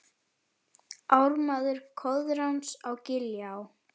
Ármaður Koðráns á Giljá